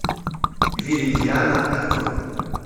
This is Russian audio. виридиана открой